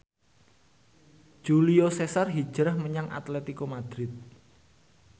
Julio Cesar hijrah menyang Atletico Madrid